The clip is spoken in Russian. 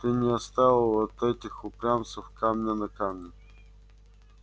ты не оставил от этих упрямцев камня на камне